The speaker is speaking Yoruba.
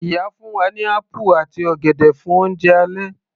Ìyá fún wa ní apple àti ọ̀gẹ̀dẹ̀ fún oúnjẹ alẹ́